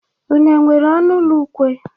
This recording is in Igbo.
Unu o nwere ọnụ ụlọ ukwe?